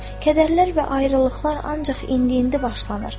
Kədərlər və ayrılıqlar ancaq indi-indi başlanır.